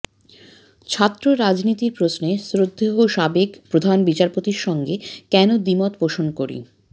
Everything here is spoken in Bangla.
ছাত্র রাজনীতির প্রশ্নে শ্রদ্ধেয় সাবেক প্রধান বিচারপতির সঙ্গে কেন দ্বিমত পোষণ করি